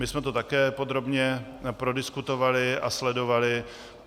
My jsme to také podrobně prodiskutovali a sledovali.